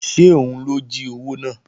Ṣé òun ló jí owó náà?